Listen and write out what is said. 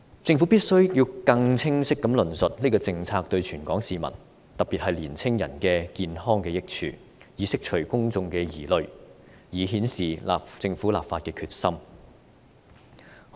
政府必須更清晰地論述這項政策對全港市民的健康的益處，以釋除公眾疑慮，顯示政府立法的決心。